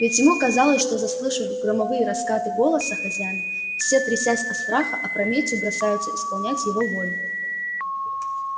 ведь ему казалось что заслышав громовые раскаты голоса хозяина все трясясь от страха опрометью бросаются исполнять его волю